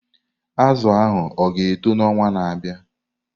Azụ ahụ ọ ga-eto n'ọnwa na-abịa?